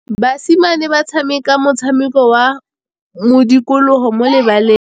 Basimane ba tshameka motshameko wa modikologô mo lebaleng.